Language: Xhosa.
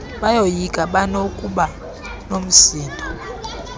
bayoyika banokuba nomsindo